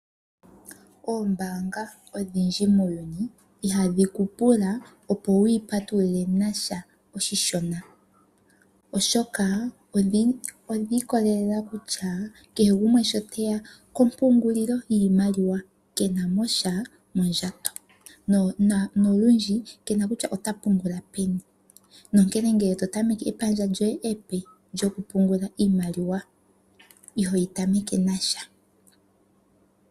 Oombaanga odhindji muuyuni ihadhi ku pula opo wu yi patulule nasha oshishona, oshoka odhi ikolelela kutya kehe gumwe shi teya kompungulilo yiimaliwa ke na mo sha mondjato nolundji ke na kutya ota pungula peni. Nonkene ngele to tameke epandja lyoye epe lyokupungula iimaliwa iho li tameke nasha.